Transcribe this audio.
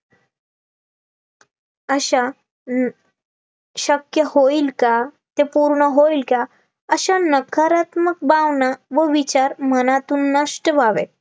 अशा नकारात्मक भावना व विचार मनातून नष्ट व्हावे